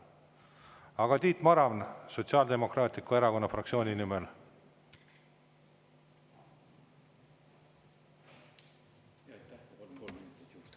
Aga, Tiit Maran, Sotsiaaldemokraatliku Erakonna fraktsiooni nimel.